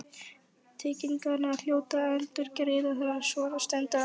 Tryggingarnar hljóta að endurgreiða þegar svona stendur á.